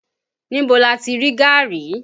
Níbo lati rí gaàrí?